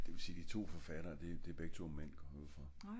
det vil sige at de to forfatter er begge to mænd går jeg ud fra